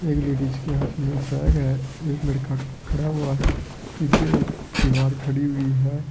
एक लेडीज के हाथ में बैग है एक लड़का खड़ा हुआ है पीछे एक दीवार खड़ी हुई है।